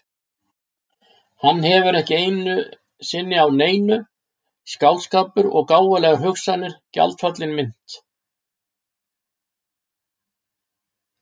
Hann hefur ekki sinnu á neinu, skáldskapur og gáfulegar hugsanir- gjaldfallin mynt.